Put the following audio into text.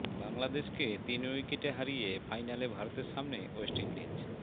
বাংলাদেশকে তিন উইকেটে হারিয়ে ফাইনালে ভারতের সামনে ওয়েস্ট ইন্ডিজ